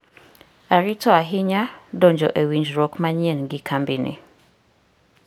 Arito ahinya donjo e winjruok manyien gi kambini.